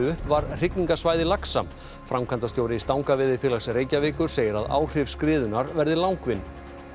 upp var hrygningarsvæði laxa framkvæmdastjóri Stangaveiðifélags Reykjavíkur segir að áhrif skriðunnar verði langvinn